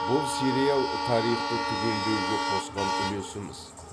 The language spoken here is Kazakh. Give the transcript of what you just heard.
бұл сериал тарихты түгендеуге қосқан үлесіміз